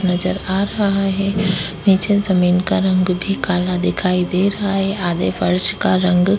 नजर आ रहा है नीचे जमीन का रंग भी काला दिखाई दे रहा है आधे फर्श का रंग --